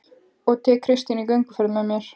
Og tek Kristínu í gönguferðir með mér